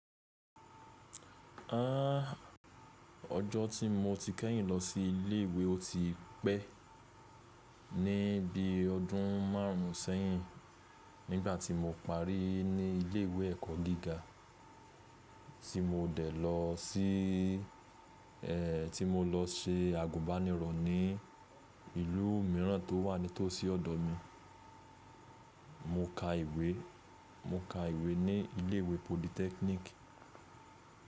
Ọjọ́ tí mo ti kẹ́yìn lọ sí ilé ìwé o ti pẹ́, ní bí ọdún márùn sẹ́yìn, nígbà tí mo parí ní ilé ìwé ẹ̀kọ́ gíga tí mo dẹ̀ lọ sí, ẹ, tí mo lọ se àgùbánirọ̀ ní ìlú míràn tó wà nítòsí ọ̀dọ̀ mi. Mo ka ìwé, mo ka ìwé ní ilé ìwé politẹ́kínìkì.